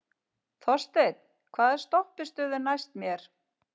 Þorsteinn, hvaða stoppistöð er næst mér?